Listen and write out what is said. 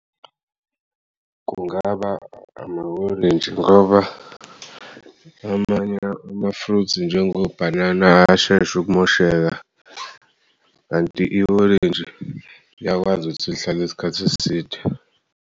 Kungaba ama-orange ngoba amanye ama-fruits njengo bhanana ayasheshu'kumosheka kanti i-orintshi liyakwazi ukuthi lihlale isikhath'eside.